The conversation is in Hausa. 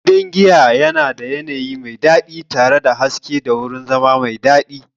Gidan giyan yana da yanayi mai daɗi tare da haske da wurin zama mai daɗi.